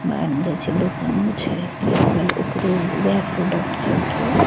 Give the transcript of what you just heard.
मान जाइछे दुकानों छे लागल ओकरे उहे प्रोडक्ट सब के --